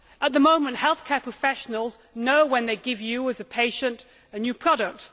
At the moment, healthcare professionals know when they give you, as a patient, a new product.